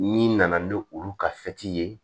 N'i nana ni olu ka ye